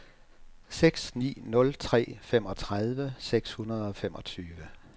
seks ni nul tre femogtredive seks hundrede og femogtyve